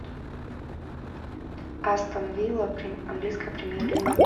астон вилла английская премьер лига